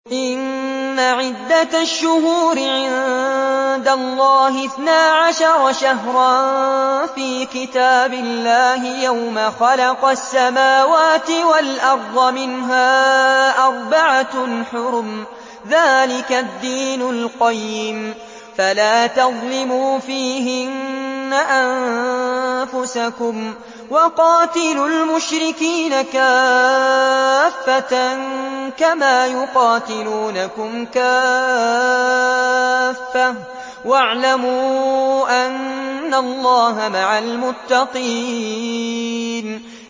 إِنَّ عِدَّةَ الشُّهُورِ عِندَ اللَّهِ اثْنَا عَشَرَ شَهْرًا فِي كِتَابِ اللَّهِ يَوْمَ خَلَقَ السَّمَاوَاتِ وَالْأَرْضَ مِنْهَا أَرْبَعَةٌ حُرُمٌ ۚ ذَٰلِكَ الدِّينُ الْقَيِّمُ ۚ فَلَا تَظْلِمُوا فِيهِنَّ أَنفُسَكُمْ ۚ وَقَاتِلُوا الْمُشْرِكِينَ كَافَّةً كَمَا يُقَاتِلُونَكُمْ كَافَّةً ۚ وَاعْلَمُوا أَنَّ اللَّهَ مَعَ الْمُتَّقِينَ